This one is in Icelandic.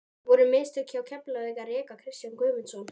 Voru mistök hjá Keflavík að reka Kristján Guðmundsson?